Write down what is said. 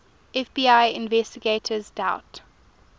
fbi investigators doubt